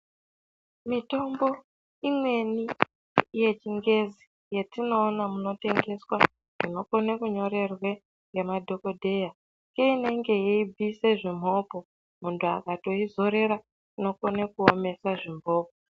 Mitombo imweni yechingezi yetinoona munotengeswa zvinokone kunyorerwe ngemadhogodheya. Seinenge yeibvise zvimhopo muntu akatoizorera kunokone kuomesa zvimhopo.